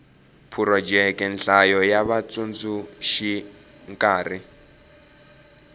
phurojeke nhlayo ya vatsundzuxi nkarhi